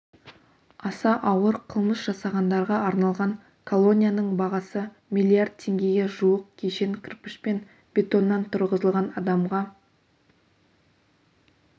аса ауыр қылмыс жасағандарға арналған колонияның бағасы миллиард теңгеге жуық кешен кірпіш пен бетоннан тұрғызылған адамға